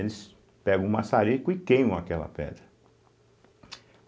Eles pegam o maçarico e queimam aquela pedra.